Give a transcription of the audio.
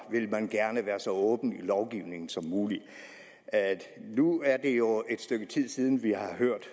vil man gerne være så åben i lovgivningen som muligt nu er det jo et stykke tid siden vi har hørt